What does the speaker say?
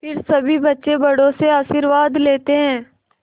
फिर सभी बच्चे बड़ों से आशीर्वाद लेते हैं